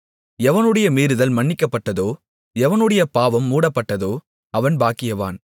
எவனுடைய மீறுதல் மன்னிக்கப்பட்டதோ எவனுடைய பாவம் மூடப்பட்டதோ அவன் பாக்கியவான்